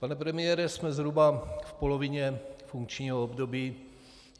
Pane premiére, jsme zhruba v polovině funkčního období.